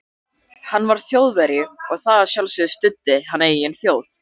Hann var Þjóðverji og að sjálfsögðu studdi hann eigin þjóð.